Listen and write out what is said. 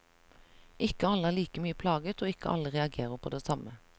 Ikke alle er like mye plaget og ikke alle reagerer på det samme.